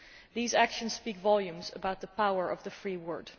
These actions speak volumes about the power of the free word.